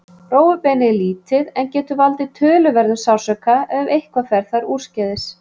Rófubeinið er lítið en getur valdið töluverðum sársauka ef eitthvað fer þar úrskeiðis.